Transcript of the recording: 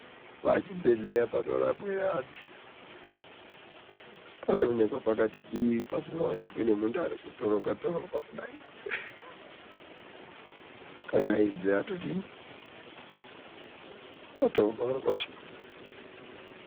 Pachibhehleya panorapwe antu panonekwe pakati dii pasinganonikwi nemunti arikutoroka toroka kudai kangaidze patovharwa zvapo.